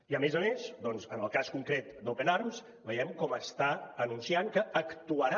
i a més a més doncs en el cas concret d’open arms veiem com està anunciant que actuarà